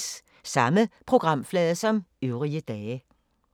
Samme programflade som øvrige dage